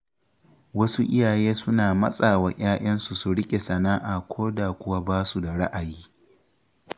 Wasu iyaye suna matsa wa ‘ya’yansu su riƙe sana’a koda kuwa basu da ra'ayi.